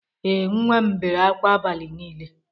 Ee, nwa m bere akwa abali niile